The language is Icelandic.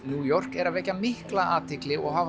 New York eru að vekja mikla athygli og hafa